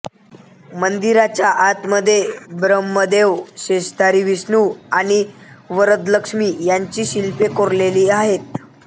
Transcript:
मंदिराच्या आतमध्ये ब्रम्हदेवशेषधारी विष्णू आणि वरदलक्ष्मी यांची शिल्पे कोरलेली आहेत